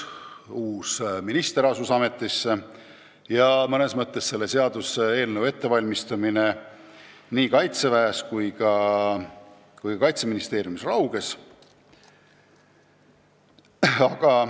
Uus minister astus ametisse ja selle seaduseelnõu ettevalmistamine nii Kaitseväes kui ka Kaitseministeeriumis rauges.